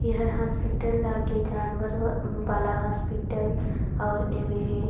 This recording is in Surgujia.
एहर हॉस्पिटल लगे जानवर वाला हॉस्पिलटल और एमे--